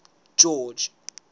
george